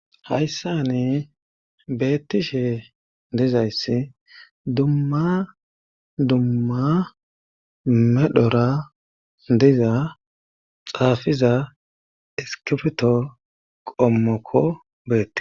Hayssani beettishe dizayssi dumma dumma medhora diza xaafiza iskibto qommokko beettees.